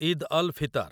Eid al Fitr